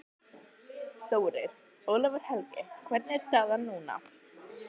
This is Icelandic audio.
Þórir: Ólafur Helgi hvernig er staðan núna?